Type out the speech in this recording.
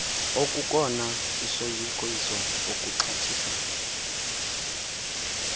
okukona isoyikiso ukuxhathisa